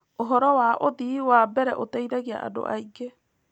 ũhoro wa ũthii wa mbere ũteithagia andũ aingĩ.